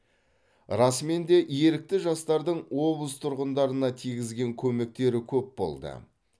расымен де ерікті жастардың облыс тұрғындарына тигізген көмектері көп болды